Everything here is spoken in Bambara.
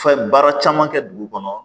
Fɛn baara caman kɛ dugu kɔnɔ